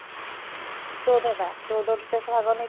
ଚଉଦ ଟା ଚଉଦ ଟା ଦେଶ ଭାଗ ନେଇଥିଲେ